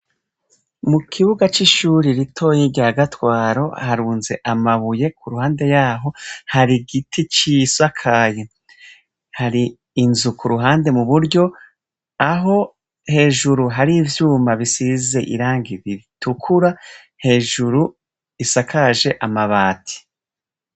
Mu kibuga c'ishure ritoyi rya Gatwaro harunze amabuye, ku uruhande yaho hari igiti cisakaye. Hari inzu ku ruhande mu buryo, aho hejuru hari ivyuma bisize irangi ritukura, hejuru isakaje amabati.